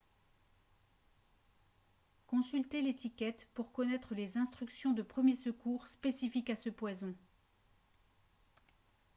consultez l'étiquette pour connaître les instructions de premiers secours spécifiques à ce poison